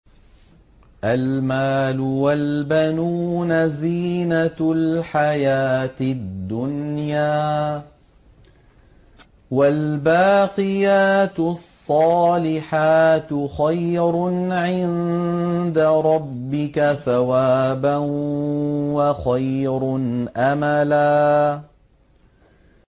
الْمَالُ وَالْبَنُونَ زِينَةُ الْحَيَاةِ الدُّنْيَا ۖ وَالْبَاقِيَاتُ الصَّالِحَاتُ خَيْرٌ عِندَ رَبِّكَ ثَوَابًا وَخَيْرٌ أَمَلًا